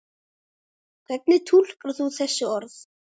Hvernig túlkar þú þessi orð?